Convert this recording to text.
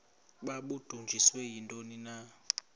babudunjiswe yintoni na